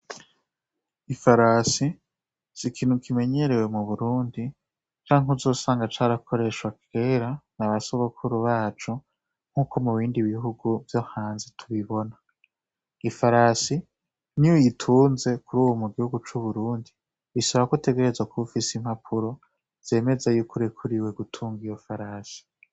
Ifarasi sigitugano kimenyerewe m'uburundi cank 'uzosanga carakoreshwa kera, na basogokuru bacu nkuko mubindi bihugu vyo hanze tubibona, ifarasi niyuyitunze mu gihugu c'uburundi bisabako ub'ufis'impapuro zemeza yuko urekurewe gutung'iyo farasi.